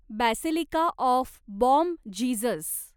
basilica of Bom Jesus